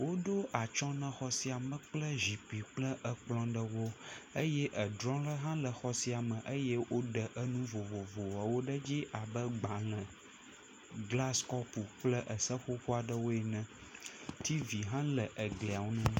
Woɖo atsyɔ̃ na xɔ sia me kple zikpi kple ekplɔ̃ ɖewo. Eye edrɔ̃ ɖe hã le xɔ sia me. Eye woɖe enu vovovoawo ɖe dzi abe gbalẽ, glasikɔpo kple eseƒoƒo aɖewo ene. Tiivi hã le eglia ŋu.